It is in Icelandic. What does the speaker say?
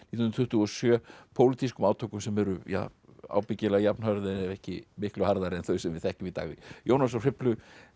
hundruð tuttugu og sjö pólitískum átökum sem urðu ábyggilega jafn hörð ef ekki miklu harðari en þau sem við þekkjum í dag Jónas frá Hriflu